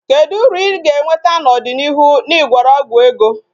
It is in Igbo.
Kedu uru I ga-enweta n'ọdịnịihu na Ị gwọrọ ọgwụ ego?